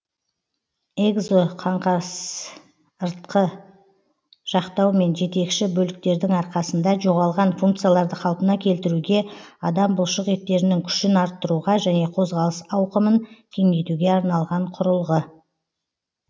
экзоқаңқасыртқы жақтау мен жетекші бөліктердің арқасында жоғалған функцияларды қалпына келтіруге адам бұлшық еттерінің күшін арттыруға және қозғалыс ауқымын кеңейтуге арналған құрылғы